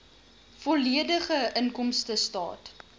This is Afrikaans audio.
volledige inkomstestaat